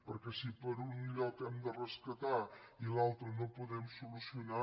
perquè si per un lloc hem de rescatar i per l’altre no ho podem solucionar